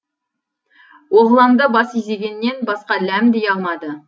оғланды бас изегеннен басқа ләм дей алмады